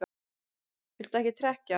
Viltu ekki trekkja?